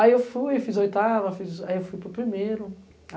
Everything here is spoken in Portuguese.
Aí eu fui, fiz oitava, fui para o primeiro.